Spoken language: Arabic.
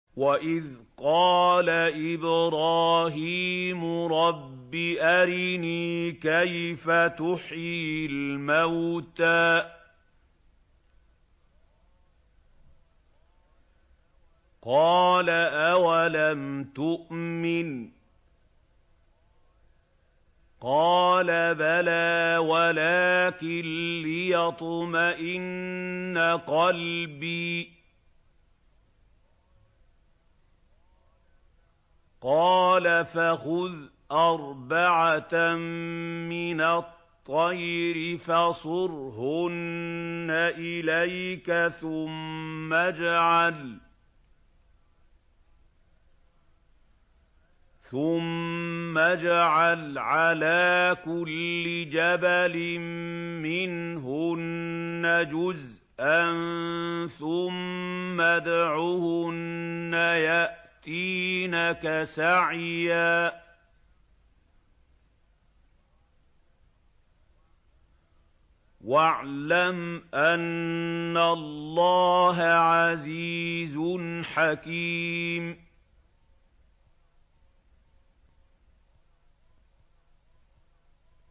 وَإِذْ قَالَ إِبْرَاهِيمُ رَبِّ أَرِنِي كَيْفَ تُحْيِي الْمَوْتَىٰ ۖ قَالَ أَوَلَمْ تُؤْمِن ۖ قَالَ بَلَىٰ وَلَٰكِن لِّيَطْمَئِنَّ قَلْبِي ۖ قَالَ فَخُذْ أَرْبَعَةً مِّنَ الطَّيْرِ فَصُرْهُنَّ إِلَيْكَ ثُمَّ اجْعَلْ عَلَىٰ كُلِّ جَبَلٍ مِّنْهُنَّ جُزْءًا ثُمَّ ادْعُهُنَّ يَأْتِينَكَ سَعْيًا ۚ وَاعْلَمْ أَنَّ اللَّهَ عَزِيزٌ حَكِيمٌ